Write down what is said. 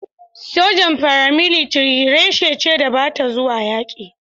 sojan "Paramilitary" reshe ce da ba ta zuwa yaƙi.